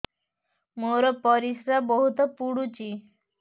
ମୋର ପରିସ୍ରା ବହୁତ ପୁଡୁଚି